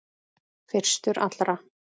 Fyrstur allra.